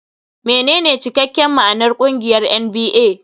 Menene cikakken ma'anar ƙungiyar NBA?